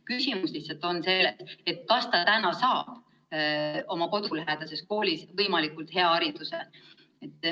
Küsimus lihtsalt on selles, kas ta saab kodulähedases koolis võimalikult hea hariduse.